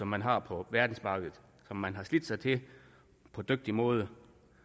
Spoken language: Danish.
man har på verdensmarkedet og som man har slidt sig til på dygtig måde